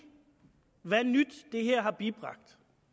hvad nyt det her har bibragt